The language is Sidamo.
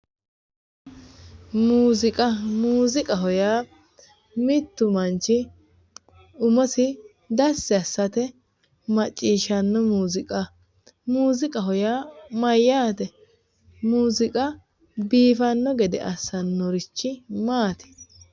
muuziqa muuziqaho yaa mittu manchi umosi dassi assate maciishshanno muuziqa, muuziqaho yaa mayyaate? muuziqa biifanno gede assannorichi maati?